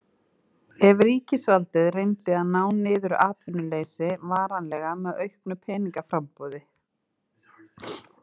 Ef ríkisvaldið reyndi að ná niður atvinnuleysi varanlega með auknu peningaframboði.